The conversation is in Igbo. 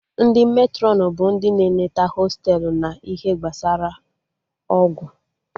Ndị Matrọn bụ ndị na-eneta hostelu na ihe gbasara ọgwụ